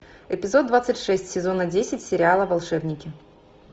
эпизод двадцать шесть сезона десять сериала волшебники